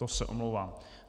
To se omlouvám.